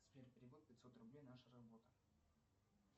сбер перевод пятьсот рублей наша работа